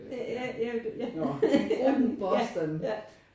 Øh ja nej ja